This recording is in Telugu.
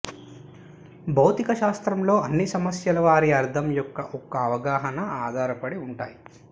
భౌతికశాస్త్రంలో అన్ని సమస్యలు వారి అర్థం యొక్క ఒక అవగాహన ఆధారపడి ఉంటాయి